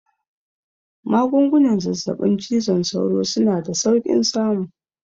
Magungunan zazzaɓin cizon sauro suna da saukin samu